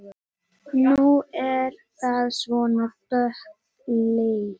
Nú er það svona dökkleitt!